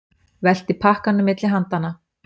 Velti pakkanum milli handanna.